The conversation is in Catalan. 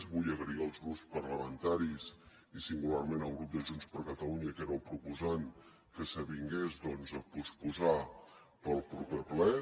vull agrair als grups parlamentaris i singularment al grup de junts per catalunya que era el proposant que s’avingués doncs a posposar ho pel proper ple